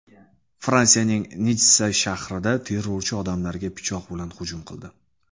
Fransiyaning Nitssa shahrida terrorchi odamlarga pichoq bilan hujum qildi.